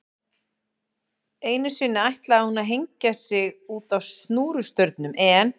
Einu sinni ætlaði hún að hengja sig útá snúrustaurnum en